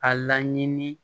A laɲini